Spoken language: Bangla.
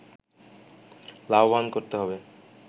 লাভবান করতে হবে